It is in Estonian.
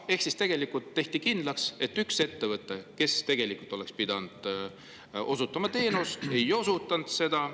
Ehk siis tegelikult tehti kindlaks, et üks ettevõte, kes oleks pidanud teenust osutama, ei osutanud seda.